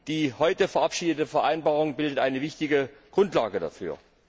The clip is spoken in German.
Die heute verabschiedete Vereinbarung bildet eine wichtige Grundlage dafür.